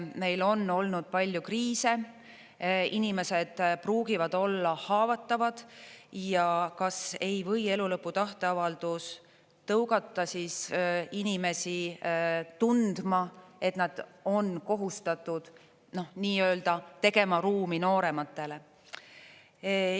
Meil on olnud palju kriise, inimesed pruugivad olla haavatavad ja kas ei või elulõpu tahteavaldus tõugata inimesi tundma, et nad on kohustatud, noh, nii-öelda tegema ruumi noorematele.